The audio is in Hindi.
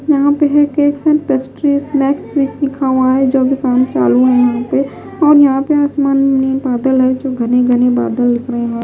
यहां पे है केक्स एंड पेस्ट्री स्नैक्स भी लिखा हुआ है जो भी काम चालू है यहां पे और यहां पे आसमान में बादल है जो घने-घने बादल लिख रहे हैं।